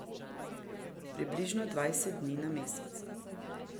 Približno dvajset dni na mesec.